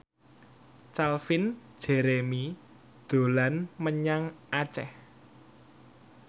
Calvin Jeremy dolan menyang Aceh